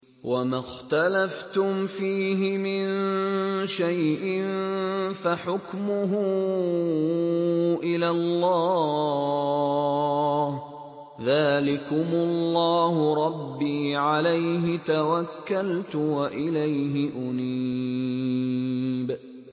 وَمَا اخْتَلَفْتُمْ فِيهِ مِن شَيْءٍ فَحُكْمُهُ إِلَى اللَّهِ ۚ ذَٰلِكُمُ اللَّهُ رَبِّي عَلَيْهِ تَوَكَّلْتُ وَإِلَيْهِ أُنِيبُ